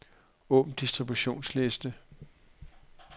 Åbn distributionsliste.